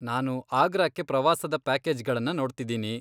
ನಾನು ಆಗ್ರಾಕ್ಕೆ ಪ್ರವಾಸದ ಪ್ಯಾಕೇಜ್ಗಳನ್ನ ನೋಡ್ತಿದ್ದೀನಿ.